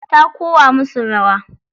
Ta kowa musu rawa.